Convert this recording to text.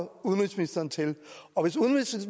udenrigsministeren til